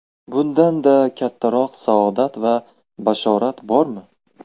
Bundan-da kattaroq saodat va bashorat bormi?!